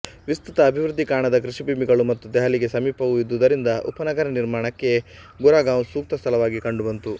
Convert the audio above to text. ವಿಸ್ತೃತ ಅಭಿವೃದ್ಧಿ ಕಾಣದ ಕೃಷಿ ಭೂಮಿಗಳು ಮತ್ತು ದೆಹಲಿಗೆ ಸಮೀಪವೂ ಇದ್ದುದರಿಂದ ಉಪನಗರ ನಿರ್ಮಾಣಕ್ಕೆ ಗುರಗಾಂವ್ ಸೂಕ್ತ ಸ್ಥಳವಾಗಿ ಕಂಡುಬಂತು